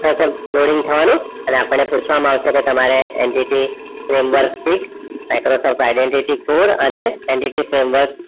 થવાનું આપણે પુછવામાં અવસે કે તમારે NDThome work Microsoft identity code અને